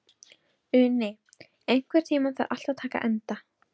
Uni, einhvern tímann þarf allt að taka enda.